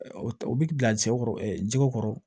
U bɛ bila cɛw kɔrɔ jɛgɛ kɔrɔ